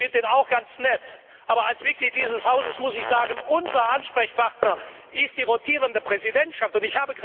Ich finde ihn auch ganz nett, aber als Mitglied dieses Hauses muss ich sagen, dass unser Ansprechpartner die rotierende Präsidentschaft ist.